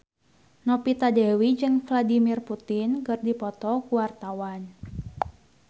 Novita Dewi jeung Vladimir Putin keur dipoto ku wartawan